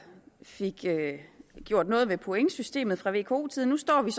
fik gjort noget ved pointsystemet fra vko tiden nu står vi